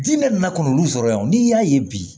Diinɛ nakɔna yan n'i y'a ye bi